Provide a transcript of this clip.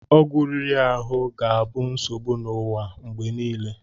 Ọgwụ riri ahụ ga-abụ nsogbu n'ụwa mgbe niile.